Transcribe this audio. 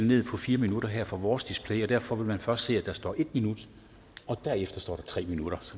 ned fra fire minutter her fra vores display og derfor vil man først se at der står en minut og derefter står der tre minutter